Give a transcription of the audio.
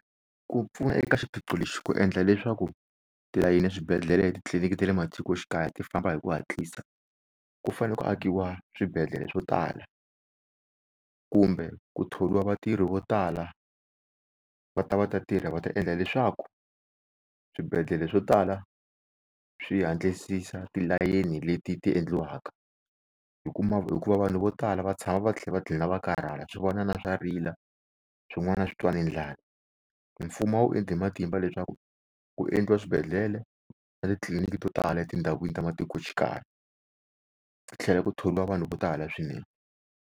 Ku pfuna eka xiphiqo lexi ku endla leswaku tilayini eswibedele etitliliniki ta le matikoxikaya ti famba hi ku hatlisa, ku fanele ku akiwa swibedhlele swo tala kumbe ku thoriwa vatirhi vo tala va ta va ta tirha, va ta endla leswaku swibedhlele swo tala swi hatlisisa tilayeni leti ti endliwaka hi kuma hikuva vanhu vo tala va tshama va tlhela va tlhela va karhala. Swivanana swa rila swin'wana swi twa ni ndlala, mfumo a wu endli hi matimba leswaku ku endliwa swibedhlele na titliliniki to tala etindhawini ta matikoxikaya, ku tlhela ku thoriwa vanhu vo tala swinene.